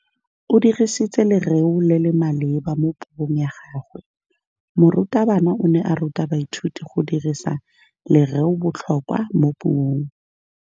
O dirisitse lerêo le le maleba mo puông ya gagwe. Morutabana o ne a ruta baithuti go dirisa lêrêôbotlhôkwa mo puong.